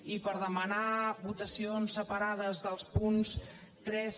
i per demanar votacions separades dels punts tres